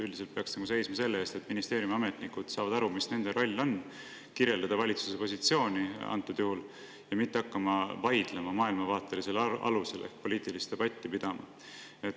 Üldiselt peaksime seisma selle eest, et ministeeriumi ametnikud saavad aru, mis on nende roll: kirjeldada valitsuse positsiooni ja mitte hakata vaidlema maailmavaatelisel alusel ehk hakata poliitilist debatti pidama.